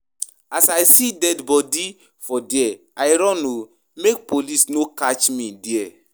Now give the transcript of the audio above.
As I see dead bodi for there, I run o make police no catch me there.